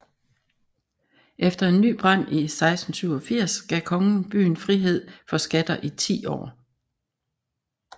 Efter en ny brand i 1687 gav kongen byen frihed for skatter i 10 år